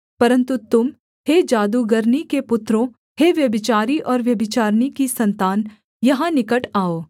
परन्तु तुम हे जादूगरनी के पुत्रों हे व्यभिचारी और व्यभिचारिणी की सन्तान यहाँ निकट आओ